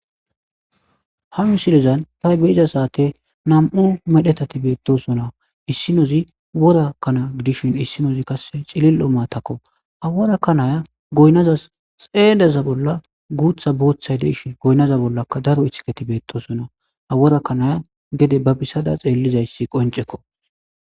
Ha misilizan ta beeiza saate nam7u medhetati beettosona issinozi worakkana gidishin issinozi kasse cilillo maatakko haworakkanaya goynaza xeedeza bolla guutha booththay deshi goynaza bollaka daro ithiketi beettosona haworakkanaya gede ba bissada xeellizayssi qoncekko.